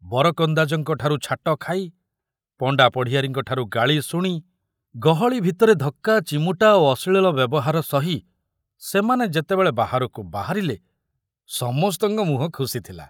ବରକନ୍ଦାଜଙ୍କଠାରୁ ଛାଟ ଖାଇ, ପଣ୍ଡା ପଢ଼ିଆରୀଙ୍କଠାରୁ ଗାଳି ଶୁଣି, ଗହଳି ଭିତରେ ଧକ୍କା ଚିମୁଟା ଓ ଅଶ୍ଳୀଳ ବ୍ୟବହାର ସହି ସେମାନେ ଯେତେବେଳେ ବାହାରକୁ ବାହାରିଲେ, ସମସ୍ତଙ୍କ ମୁହଁ ଖୁସି ଥିଲା।